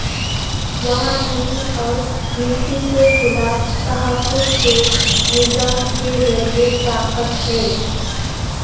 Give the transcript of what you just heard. وہاں نمی اور مٹی کے خلاف تحفظ کے نظام کے ذریعے طاقت ہے